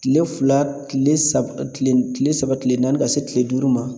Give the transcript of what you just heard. Kile fila kile saba kile saba kile naani ka se kile duuru ma